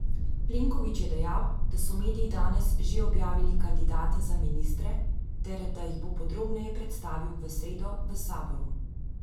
Plenković je dejal, da so mediji danes že objavili kandidate za ministre ter da jih bo podrobneje predstavil v sredo v saboru.